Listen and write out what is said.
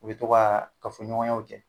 U bɛ to kaa kafoɲɔgɔnyaw kɛ